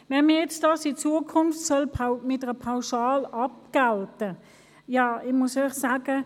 Sollte dies künftig mit einer Pauschale abgegolten werden – ja, dann muss ich Ihnen sagen: